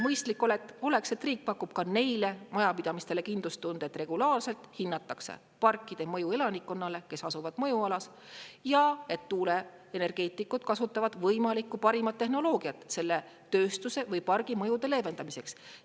Mõistlik oleks, et riik pakub ka neile majapidamistele kindlustunde, et regulaarselt hinnatakse parkide mõju elanikkonnale, kes asuvad mõjualas, ja et tuuleenergeetikud kasutavad võimalikku parimat tehnoloogiat selle tööstuse või pargi mõjude leevendamiseks.